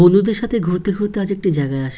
বন্ধুদের সাথে ঘুরতে ঘুরতে আজ একটি জায়গায় আস--